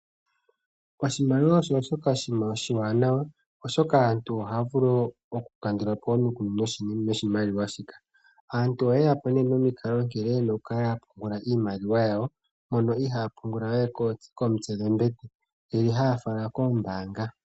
Oshimaliwa osho shoka oshiwaanawa oshoka aantu ohaya vulu oku kandula po omikundu noshimaliwa shika. Aantu ohaye yapo nee nomikalo nkene yenaoku kala ya pungula iimaliwa yawo, mpono ihaaya pungula we komitse dhombete ndele haya fala koombaanga.